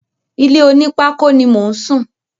Ilé onípákó ni mò ń sùn.